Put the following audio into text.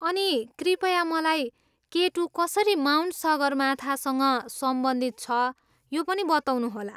अनि कृपया मलाई केटु कसरी माउन्ट सगरमाथासँग सम्बन्धित छ यो पनि बताउनुहोला।